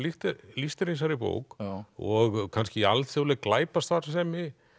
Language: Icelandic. lýst er í þessari bók og kannski alþjóðleg glæpastarfsemi